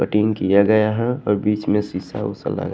Cutting किया गया है और बीच में शीशा उसा लगा।